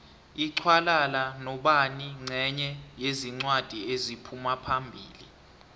laxhwalala nobani nqenye yezincwadi eziphumaphambili